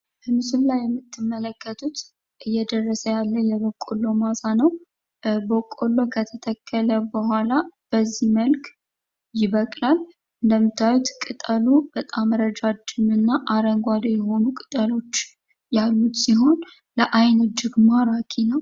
በምስሉ ላይ የምትመለከቱት እየደረሰ ያለ የበቆሎ ማሳ ነው ።በቆሎ ከተተከለ በኋላ በዚህ መልክ ይበቅላል። እንደምታዩት ቅጠሉ በጣም ረጃጅም እና አረንጓዴ የሆኑ ቅጠሎች ያሉት ሲሆን ለዓይን እጅግ ማራኪ ነው።